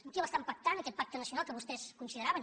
amb qui l’estant pactant aquest pacte nacional que vostès con sideraven